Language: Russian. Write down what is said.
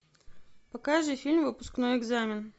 покажи фильм выпускной экзамен